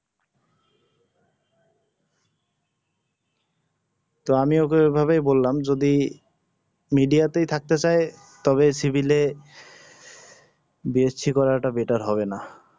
তো আমি ওকে ওইভাবে বললাম যদি media তেই থাকতে চাই তবে শিবিলে বি এস সি করাটা better হবে না